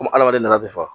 Komi adamaden nafa tɛ fa